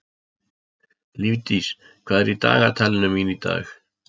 Lífdís, hvað er í dagatalinu mínu í dag?